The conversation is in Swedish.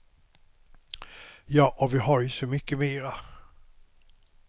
Jag och vi var ju så mycket mera.